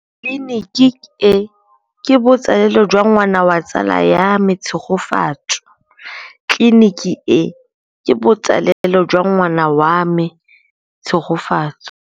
Tleliniki e, ke botsalêlô jwa ngwana wa tsala ya me Tshegofatso.